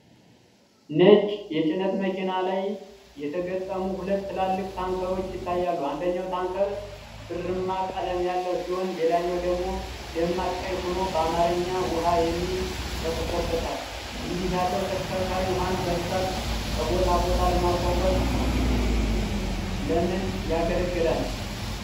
ነጭ ጭነት መኪና ላይ የተገጠሙ ሁለት ትላልቅ ታንከሮች ይታያሉ። አንደኛው ታንከር ብርማ ቀለም ያለው ሲሆን፣ ሌላኛው ደግሞ ደማቅ ቀይ ሆኖ በአማርኛ “ውሃ” የሚል ጽሑፍ ተጽፎበታል። እንዲህ ያለው ተሽከርካሪ ውሃን በብዛት ከቦታ ቦታ ለማጓጓዝ ለምን ያገለግላል?